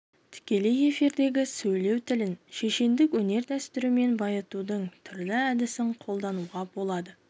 тікелей эфирдегі сөйлеу тілін шешендік өнер дәстүрімен байытудың түрлі әдісін қолдануға болады